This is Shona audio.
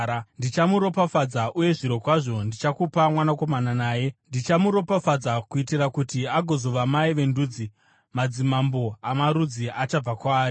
Ndichamuropafadza uye zvirokwazvo ndichakupa mwanakomana naye. Ndichamuropafadza kuitira kuti agozova mai vendudzi; madzimambo amarudzi achabva kwaari.”